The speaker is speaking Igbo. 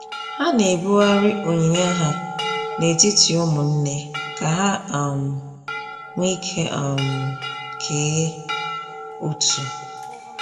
Ha na-ebughari onyinye ha n'etiti ụmụnne ka ha um nweike um kee ụtụ